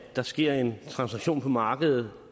der sker en transaktion på markedet